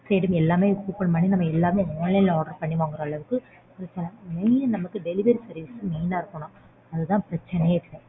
சரி எல்லாமே book பண்ணி எல்லாமே online ல order பண்ணி வாங்கற அளவுக்கு mainly delivery service main ஆ இருக்கணும் அதுதான் பிரச்சனையே இப்போ.